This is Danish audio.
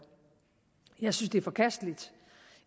jeg synes det er forkasteligt